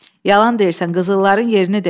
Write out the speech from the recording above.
Yalan deyirsən, qızılların yerini de!